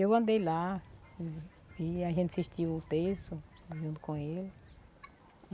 Eu andei lá e a gente assistiu o terço junto com ele.